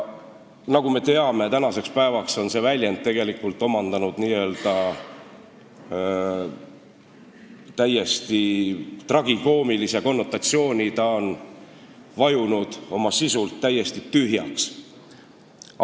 Nagu me teame, tänaseks päevaks on see sõna tegelikult omandanud lausa tragikoomilise konnotatsiooni, ta on oma sisult täiesti tühjaks vajunud.